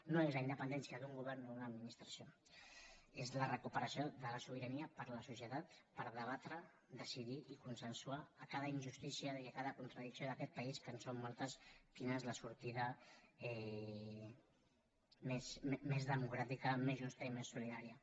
no és la independència d’un govern o d’una administració és la recuperació de la sobirania per a la societat per debatre decidir i consensuar a cada injustícia i a cada contradicció d’aquest país que en són moltes quina és la sortida més democràtica més justa i més solidària